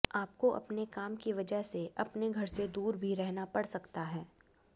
आपको अपने काम की वजह से अपने घर से दूर भी रहना पड़ सकता है